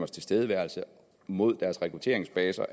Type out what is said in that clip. tilstedeværelse mod deres rekrutteringsbaser